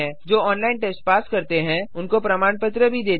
जो online test pass करते हैं उन्हें प्रमाण पत्र भी देते हैं